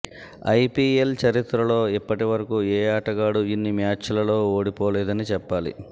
IPL చరిత్రలో ఇప్పటి వరకు ఏ ఆటగాడూ ఇన్ని మ్యాచ్లలో ఓడిపోలేదని చెప్పాలి